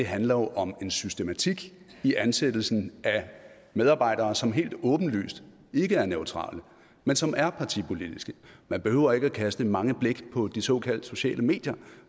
handler om en systematik i ansættelsen af medarbejdere som helt åbenlyst ikke er neutrale men som er partipolitiske man behøver ikke at kaste mange blikke på de såkaldt sociale medier